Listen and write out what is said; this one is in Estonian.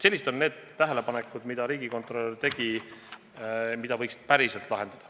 Sellised on tähelepanekud, mis riigikontrolör tegi, viidates probleemidele, mis oleks tõesti vaja lahendada.